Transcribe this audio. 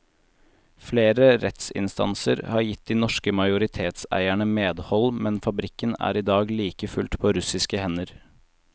Flere rettsinstanser har gitt de norske majoritetseierne medhold, men fabrikken er i dag like fullt på russiske hender.